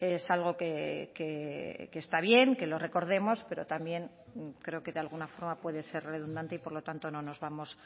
es algo que está bien que lo recordemos pero también creo que de alguna forma puede ser redundante y por lo tanto no nos vamos